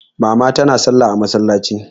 Mama tana salla a masallaci.